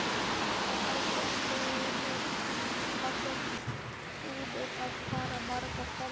Hafsteinn: Búnir að fara margar ferðir?